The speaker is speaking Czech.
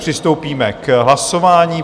Přistoupíme k hlasování.